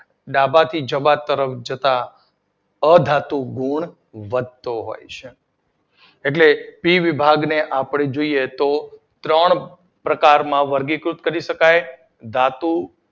ડાબા થી જબા તરફ જતાં અધાતુ ગુણ વધતાં હોય છે. એટલે પી વિભાગને આપડે જોઈએ ત્રણ પ્રકારમાં વર્ગીકૃત કરી શકાય ધાતુ